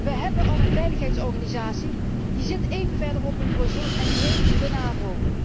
Wij hebben al een veiligheidsorganisatie, die zit even verderop in Brussel en die heet de NAVO.